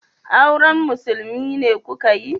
Auren musulmi ne muka yi